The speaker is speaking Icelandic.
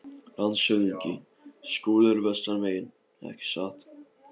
LANDSHÖFÐINGI: Skúli er vestan megin, ekki satt?